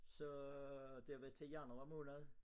Så det var til januar måned